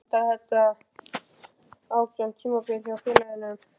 Vill maður enda þannig eftir átján tímabil hjá félaginu?